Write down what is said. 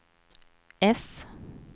S